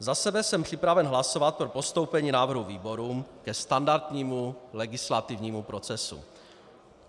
Za sebe jsem připraven hlasovat pro postoupení návrhu výborům ke standardnímu legislativnímu procesu.